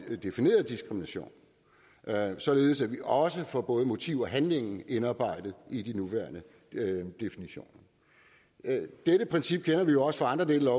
defineret diskrimination således at vi også får både motiv og handling indarbejdet i de nuværende definitioner dette princip kender vi jo også fra andre dele af